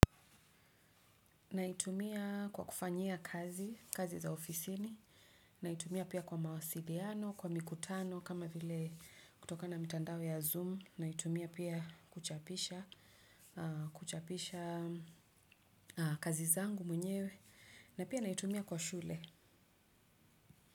Naitumia kwa kufanyia kazi kazi za ofisini, naitumia pia kwa mawasiliano, kwa mikutano kama vile kutokana mitandao ya Zoom, naitumia pia kuchapisha kazi zangu mwenyewe, na pia naitumia kwa shule.